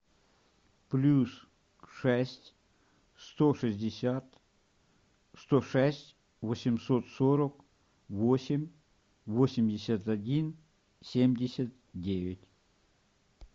плюс шесть сто шестьдесят сто шесть восемьсот сорок восемь восемьдесят один семьдесят девять